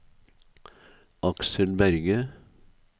Aksel Berge